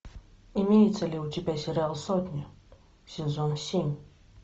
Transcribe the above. имеется ли у тебя сериал сотня сезон семь